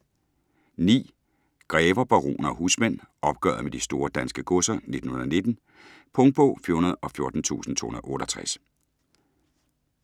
Grever, baroner og husmænd: opgøret med de store danske godser 1919 Punktbog 414268